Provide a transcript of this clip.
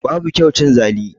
Babu kyau cin zali